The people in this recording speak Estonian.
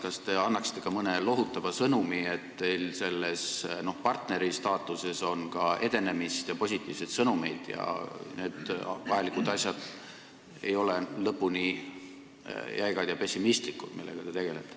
Kas te annaksite ka mõne lohutava sõnumi, et teil on sellises partneristaatuses ka edenemist ja positiivseid sõnumeid ning et need vajalikud asjad, millega te tegelete, ei ole lõpuni jäigad ja pessimistlikud?